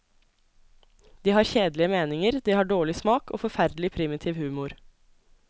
De har kjedelige meninger, de har dårlig smak og forferdelig primitiv humor.